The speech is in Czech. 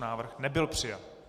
Návrh nebyl přijat.